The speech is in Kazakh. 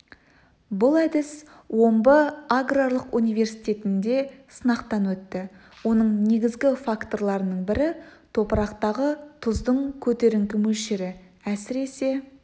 бұл әдіс омбы аграрлық университетінде сынақтан өтті оның негізгі факторларының бірі топырақтағы тұздың көтеріңкі мөлшері әсіресе